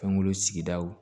Fɛnkolo sigidaw